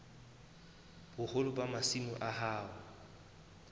boholo ba masimo a hao